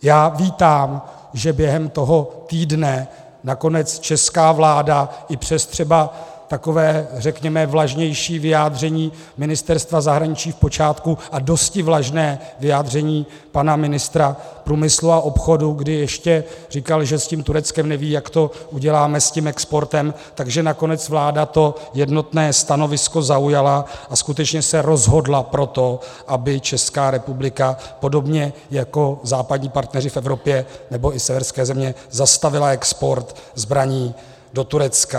Já vítám, že během toho týdne nakonec česká vláda i přes třeba takové řekněme vlažnější vyjádření Ministerstva zahraničí v počátku a dosti vlažné vyjádření pana ministra průmyslu a obchodu, kdy ještě říkal, že s tím Tureckem neví, jak to uděláme, s tím exportem, že nakonec vláda to jednotné stanovisko zaujala a skutečně se rozhodla pro to, aby Česká republika podobně jako západní partneři v Evropě nebo i severské země zastavila export zbraní do Turecka.